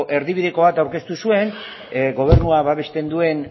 erdibideko bat aurkeztu zuen gobernua babesten duen